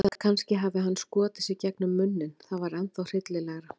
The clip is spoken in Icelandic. Eða kannski hann hafi skotið sig gegnum munninn- það var ennþá hryllilegra.